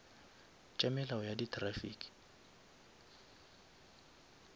tša melao ya di traffic